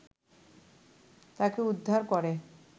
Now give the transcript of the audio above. তাকে উদ্ধার করে